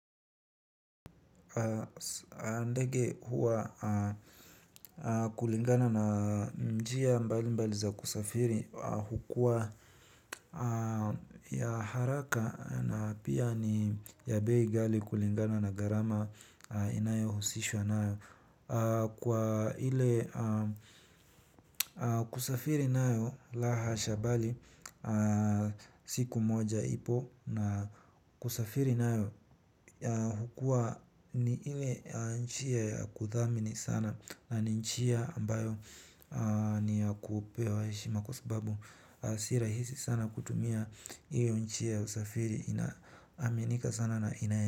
Ndege huwa kulingana na njia mbali mbali za kisafiri hukuwa ya haraka na pia ni bei ghali kulingana na garama inayohusishwa kwa ile kusafiri nao la hasha bali siku moja ipo. Na kusafiri na hukua ni ili nchia ya kuthamini sana. Na ni nchia ambayo ni ya kupewa hishima. Kwa sababu sirahisi sana kutumia ili nchia ya usafiri. Ina amenika sana na inae.